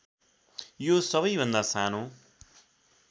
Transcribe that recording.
यो सबैभन्दा सानो